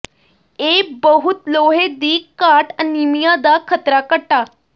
ਇਹ ਬਹੁਤ ਲੋਹੇ ਦੀ ਘਾਟ ਅਨੀਮੀਆ ਦਾ ਖਤਰਾ ਘਟਾ